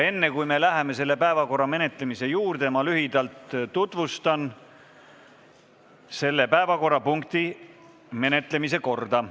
Enne, kui me läheme selle päevakorrapunkti menetlemise juurde, ma lühidalt tutvustan selle menetlemise korda.